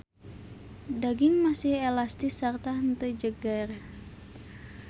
Daging masih elastis sarta henteu jeger.